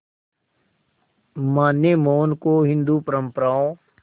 मां ने मोहन को हिंदू परंपराओं